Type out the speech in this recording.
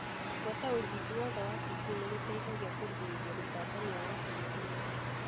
Gũbuata ũrigiti wothe wa TB nĩgũteithagia kũgirĩrĩria gũtambania kwa TB.